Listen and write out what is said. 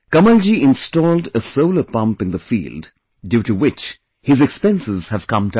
Kamal ji installed a solar pump in the field, due to which his expenses have come down